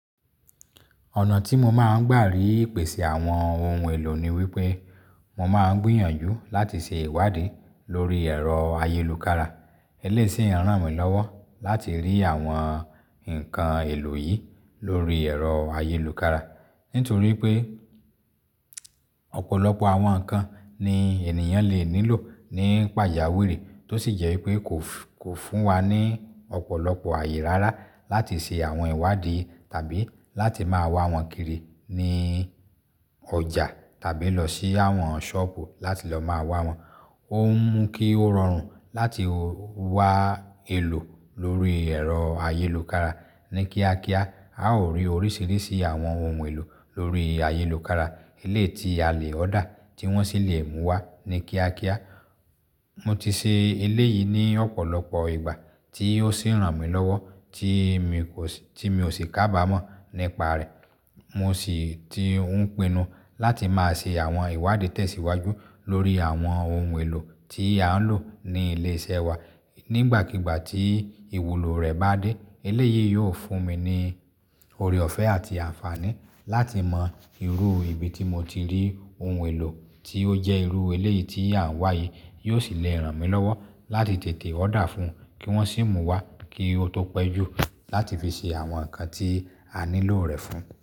Ọ̀nà tí mo máa ń gbà rí ìpèsè àwọn ohun èlò ni wípé mo máa ń gbìyànjú láti ṣe ìwádìí lórí ẹ̀rọ ayélukára. Eléyìí sì ń ràn mí lọ́wọ́ láti rí àwọn nǹkan èlò yìí lórí ẹ̀rọ ayélukára. Nítorí pé ọ̀pọ̀lọpọ̀ àwọn nǹkan ni ènìyàn lè nílò nípa pajàwiri tó sì jẹ́ pé kò fún wa ní ọ̀pọ̀lọpọ̀ àyè rárá láti ṣe àwọn ìwádìí tàbí láti máa wá wọn kiri ní ọjà tàbí lọ sí àwọn sọ́ọ̀bù láti lọ máa wá wọn. Ó ń mú kí ó rọrùn láti wá èlò lórí ẹ̀rọ ayélukára. Ni kíákíá, a ó rí oríṣiríṣi àwọn ohun èlò lórí ayélukára eléyìí tí a le order tí wọ́n sì le mú wá ní kíákíá. Mo ti ṣe eléyìí ní ọ̀pọ̀lọpọ̀ ìgbà tí ó sì ń ràn mí lọ́wọ́ tí mi kò sì kábàámọ̀ nípa rẹ̀. Mo sì ti ń pinnu láti máa ṣe àwọn ìwádìí tẹ̀síwájú lórí àwọn ohun èlò tí a ń lò ní ilé iṣẹ́ wa. Nígbàkigbà tí ìwúlò rẹ̀ bá dé, eléyìí yóò fún mi ní ọrẹ ọ̀fẹ́ àti àǹfààní láti mọ irú ibi tí mo ti rí ohun èlò tí ó jẹ́ irú eléyìí tí à ń wá yìí. Yóò sì le ràn mí lọ́wọ́ láti tètè òdà fún un kí wọ́n sì mú wá kí ó tó pẹ́ jù láti fi ṣe àwọn nǹkan tí a nílò rẹ̀ fún.